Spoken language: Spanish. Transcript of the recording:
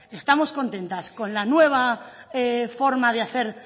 estamos contentas con la nueva forma de hacer